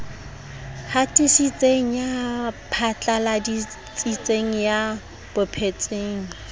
hatisitseng ya phatlaladitseng ya bapetseng